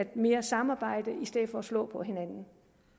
mere samarbejde i stedet for at slå på hinanden